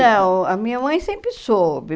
Não, a minha mãe sempre soube.